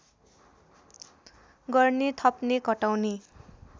गर्ने थप्ने घटाउने